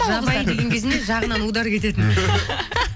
жабайы деген кезінде жағынан удар кететін